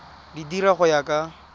di dira go ya ka